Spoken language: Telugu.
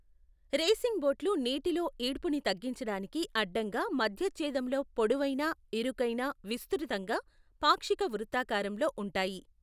రేసింగ్ బోట్లు నీటిలో ఈడ్పుని తగ్గించడానికి అడ్డంగా మధ్యచ్ఛేదములో పొడవైన, ఇరుకైన, విస్తృతంగా, పాక్షిక వృత్తాకారంలో ఉంటాయి.